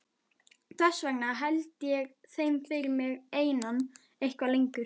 Þess vegna held ég þeim fyrir mig einan eitthvað lengur.